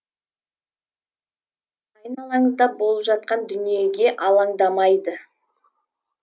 айналаңызда болып жатқан дүниеге алаңдамайды